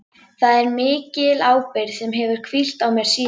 Þetta er mikil ábyrgð sem hefur hvílt á mér síðan.